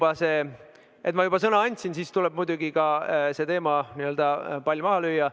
Aga et ma juba sõna andsin, siis tuleb muidugi see teema, n‑ö pall maha lüüa.